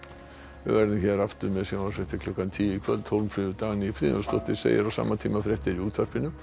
við verðum hér aftur með sjónvarpsfréttir klukkan tíu í kvöld Hólmfríður Dagný Friðjónsdóttir segir á sama tíma fréttir í útvarpinu